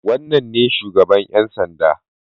Wannan ne shugaban ƴan sanda.